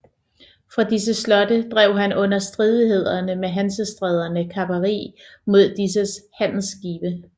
Fra disse slotte drev han under stridigheder med Hansestæderne kaperi mod disses handelsskibe